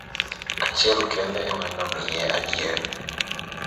achiel kende ema ne omiye adier,